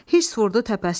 Hirs vurdu təpəsinə.